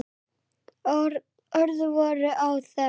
Orð voru óþörf.